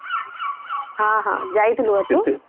ହଁ ହଁ ଯାଇଥିଲୁ ବୋଧେ